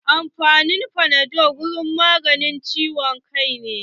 Ana amfani da fanadol wurin magance ciwon kai.